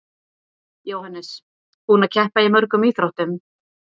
Jóhannes: Búinn að keppa í mörgum íþróttum?